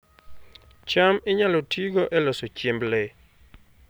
cham inyalo tigo e loso chiemb le